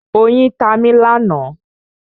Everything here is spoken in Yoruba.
Oyin ta mi lánàá.